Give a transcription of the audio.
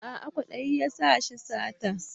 A'a kwadayi ya sa shi sata